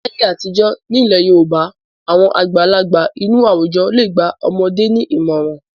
Láyé àtijọ́ nílẹ̀ Yorùbá àwọn àgbàlagbà inú àwùjọ le gba ọmọdé ní ìmọ̀ràn.